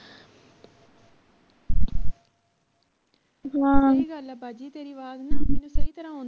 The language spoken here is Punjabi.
ਸਹੀ ਗੱਲ ਆ ਬਾਜੀ ਤੇਰੀ ਆਵਾਜ ਨਾ ਉੱਨੀ ਸਹੀ ਤਰ੍ਹਾਂ ਨਹੀਂ